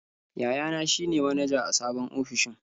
Yayana shi ne manaja a sabon ofishin.